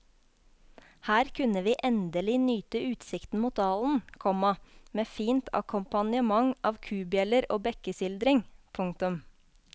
Her kunne vi endelig nyte utsikten mot dalen, komma med fint akkompagnement av kubjeller og bekkesildring. punktum